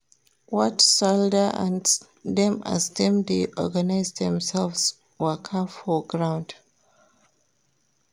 Watch soldier ants dem as dem dey organize demselves waka for ground.